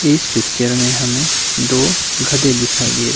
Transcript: इस पिक्चर में हमें दो गधे दिखाई दे रहे--